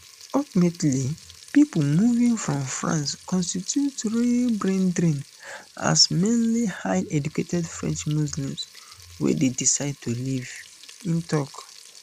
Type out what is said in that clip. ultimately pipo moving from france constitute real braindrain as na mainly highly educated french muslims wey dey decide to leave im tok